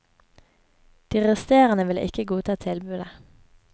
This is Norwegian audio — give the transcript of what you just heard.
De resterende ville ikke godta tilbudet.